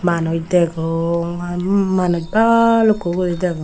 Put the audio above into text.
manuj degong aa manuj balukko guri degong.